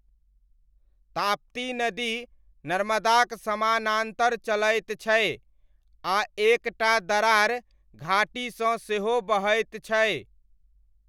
ताप्ती नदी नर्मदाक समानान्तर चलैत छै, आ एक टा दरार घाटीसँ सेहो बहैत छै।